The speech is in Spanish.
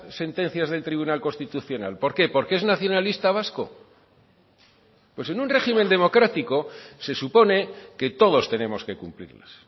sentencias del tribunal constitucional por qué por qué es nacionalista vasco pues en un régimen democrático se supone que todos tenemos que cumplirlas